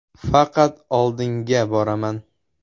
Faqat oldinga boraman.